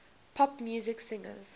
pop music singers